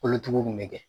Kolotugu in bɛ kɛ